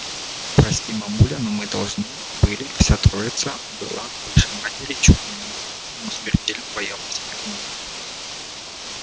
прости мамуля но мы должны были вся троица была выше матери чуть не на голову но смертельно боялась её гнева